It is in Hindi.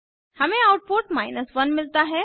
हमें आउटपुट 1 मिलता है